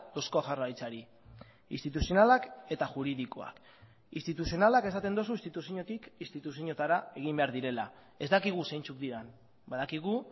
eusko jaurlaritzari instituzionalak eta juridikoak instituzionalak esaten duzu instituziotik instituzioetara egin behar direla ez dakigu zeintzuk diren badakigu